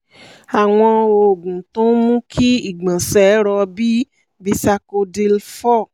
àwọn oògùn tó ń mú kí ìgbọ̀nsẹ̀ rọ̀ bíi bisacodyl four